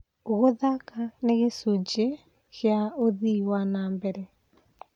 Gũthaka nĩ gĩcunjĩ kĩa ũthii wa na mbere.